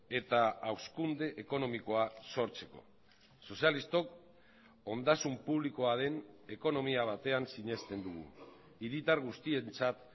eta hazkunde ekonomikoa sortzeko sozialistok ondasun publikoa den ekonomia batean sinesten dugu hiritar guztientzat